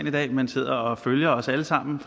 i dag men sidder og følger os alle sammen